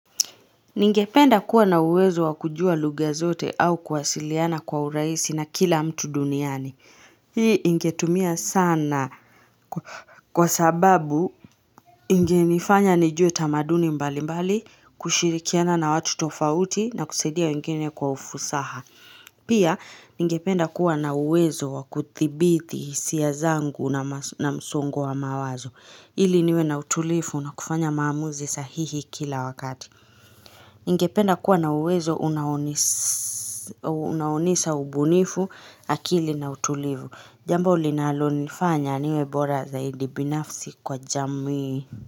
Ningependa kuwa na uwezo wa kujua lugha zote au kwasiliana kwa urahisi na kila mtu duniani. Hii ingetumia sana kwa sababu ingenifanya nijue tamaduni mbali mbali, kushirikiana na watu tofauti na kusaidia wengine kwa ufusaha. Pia, ningependa kuwa na uwezo wakuthibiti hisia zangu na msongo wa mawazo. Ili niwe na utulivu na kufanya maamuzi sahihi kila wakati. Ningependa kuwa na uwezo unaonisa ubunifu akili na utulivu Jambo linalo nifanya niwe bora zaidi binafsi kwa jamii.